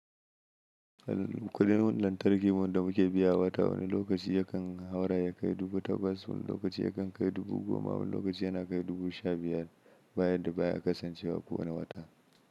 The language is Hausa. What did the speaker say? Kudin lantarki mun da muke biya wata wani lokaci yakan haura ya kai dubu takwas, wani lokaci yakan kai dubu goma, wani lokaci yana kai dubu sha biyar, baya da baya kasancewa kowane wata.